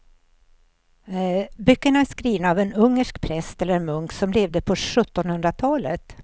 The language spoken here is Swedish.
Böckerna är skrivna av en ungersk präst eller munk som levde på sjuttonhundratalet.